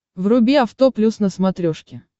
вруби авто плюс на смотрешке